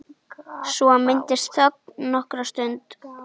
Svo myndast þögn nokkra stund.